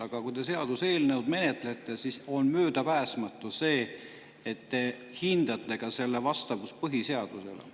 Aga kui te seaduseelnõu menetlete, siis on möödapääsmatu, et te hindate ka selle vastavust põhiseadusele.